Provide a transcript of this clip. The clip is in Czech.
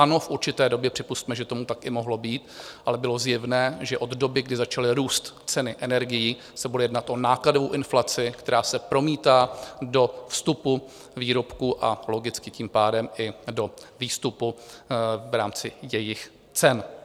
Ano, v určité době připusťme, že tomu i tak mohlo být, ale bylo zjevné, že od doby, kdy začaly růst ceny energií, se bude jednat o nákladovou inflaci, která se promítá do vstupu výrobku, a logicky tím pádem i do výstupu v rámci jejich cen.